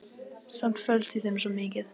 Samt felst í þeim svo mikið.